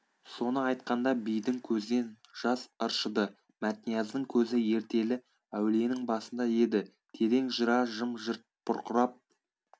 соны айтқанда бидің көзінен жас ыршыды мәтнияздың көзі ертелі әулиенің басында еді терең жыра жым-жырт бұрқырап